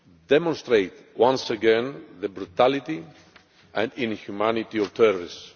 demonstrate once again the brutality and inhumanity of terrorists.